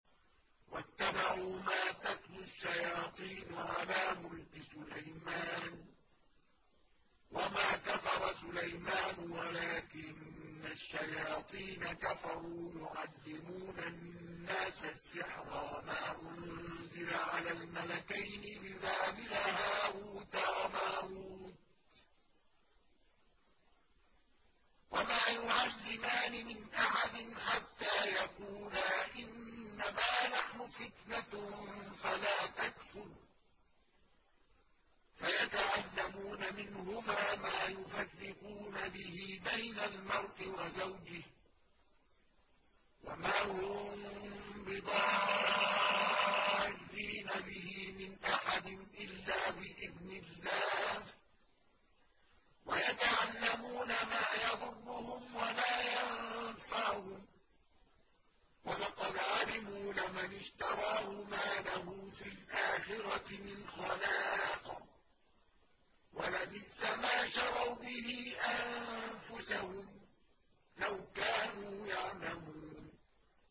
وَاتَّبَعُوا مَا تَتْلُو الشَّيَاطِينُ عَلَىٰ مُلْكِ سُلَيْمَانَ ۖ وَمَا كَفَرَ سُلَيْمَانُ وَلَٰكِنَّ الشَّيَاطِينَ كَفَرُوا يُعَلِّمُونَ النَّاسَ السِّحْرَ وَمَا أُنزِلَ عَلَى الْمَلَكَيْنِ بِبَابِلَ هَارُوتَ وَمَارُوتَ ۚ وَمَا يُعَلِّمَانِ مِنْ أَحَدٍ حَتَّىٰ يَقُولَا إِنَّمَا نَحْنُ فِتْنَةٌ فَلَا تَكْفُرْ ۖ فَيَتَعَلَّمُونَ مِنْهُمَا مَا يُفَرِّقُونَ بِهِ بَيْنَ الْمَرْءِ وَزَوْجِهِ ۚ وَمَا هُم بِضَارِّينَ بِهِ مِنْ أَحَدٍ إِلَّا بِإِذْنِ اللَّهِ ۚ وَيَتَعَلَّمُونَ مَا يَضُرُّهُمْ وَلَا يَنفَعُهُمْ ۚ وَلَقَدْ عَلِمُوا لَمَنِ اشْتَرَاهُ مَا لَهُ فِي الْآخِرَةِ مِنْ خَلَاقٍ ۚ وَلَبِئْسَ مَا شَرَوْا بِهِ أَنفُسَهُمْ ۚ لَوْ كَانُوا يَعْلَمُونَ